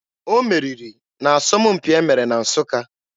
O meriri n'asọmpi asụsụ e mere na Nsụka.